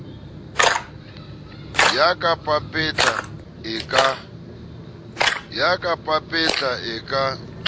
ya ka papetla e ka